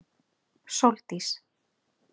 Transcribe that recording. Sóldís